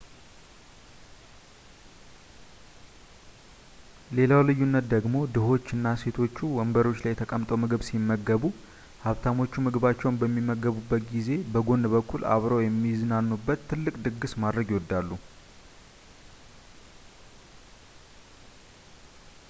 ሌላው ልዩነት ደግሞ ድሆቹ እና ሴቶቹ ወንበሮች ላይ ተቀምጠው ምግብ ሲመገቡ ሀብታሞቹ ምግባቸውን በሚመገቡበት ጊዜ በጎን በኩል አብረው የሚዝናኑበት ትልቅ ድግስ ማድረግ ይወዳሉ